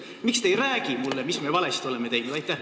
Miks te ei räägi mulle, mis me valesti oleme teinud?